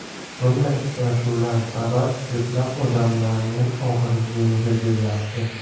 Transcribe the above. Bunday uchrashuvlar sabab ko‘plab odamlarning og‘iri yengil bo‘lyapti.